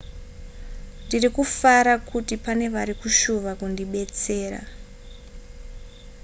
ndiri kufara kuti pane vari kushuva kundibetsera